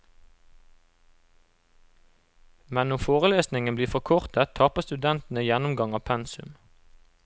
Men når forelesningen blir forkortet taper studentene gjennomgang av pensum.